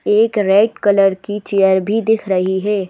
एक red colour की chair भी दिख रही है।